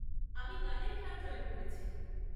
আমি গানের club join করেছি।